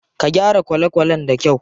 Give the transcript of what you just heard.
Ka gyara kwale kwalen da kyau.